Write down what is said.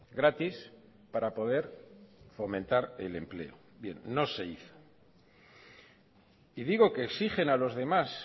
gratis para poder fomentar el empleo bien no se hizo y digo que exigen a los demás